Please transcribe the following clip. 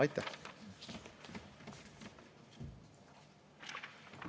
Aitäh!